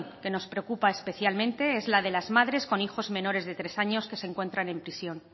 que nos preocupa especialmente es el de las madres con hijos menores de tres años que se encuentran en prisión